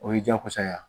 O ye diyakosa ye a